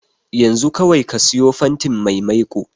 Yanzu kawai ka siyo fantin mai maiko.